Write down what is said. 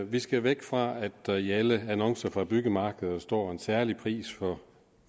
vi skal væk fra at der i alle annoncer fra byggemarkeder står en særlig pris for